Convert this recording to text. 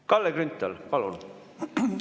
Kalle Grünthal, palun!